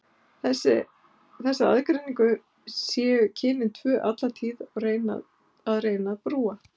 Þessa aðgreiningu séu kynin tvö alla tíð að reyna að brúa.